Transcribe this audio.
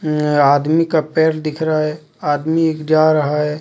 आदमी का पैर दिख रहा है आदमी एक जा रहा है.